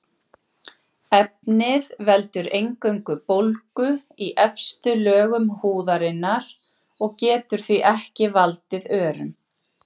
Af hverju eru sebrahestar og tígrisdýr röndótt?